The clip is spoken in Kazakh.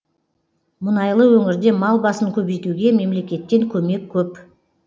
мұнайлы өңірде мал басын көбейтуге мемлекеттен көмек көп